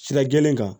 Sira gɛlɛn kan